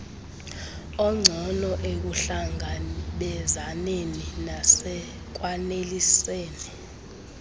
ongcono ekuhlangabezaneni nasekwaneliseni